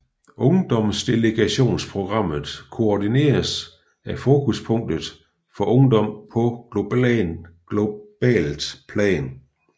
Ungdomsdelegationsprogrammet koordineres af Fokuspunktet for Ungdom på globalt plan